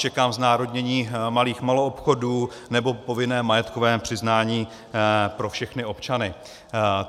Čekám znárodnění malých maloobchodů nebo povinné majetkové přiznání pro všechny občany.